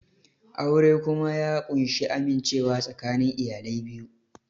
Aure kuma ya ƙunshi amincewa tsakanin iyalai biyu